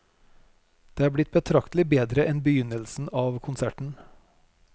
Det er blitt betraktelig bedre enn begynnelsen av konserten.